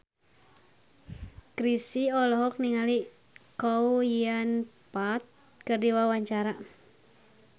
Chrisye olohok ningali Chow Yun Fat keur diwawancara